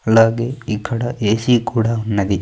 అలాగే ఇక్కడ ఏ-సీ కూడా ఉన్నది.